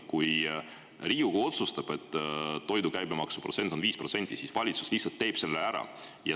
Kui Riigikogu otsustab, et toidu käibemaks on 5%, siis valitsus lihtsalt teeb selle ära.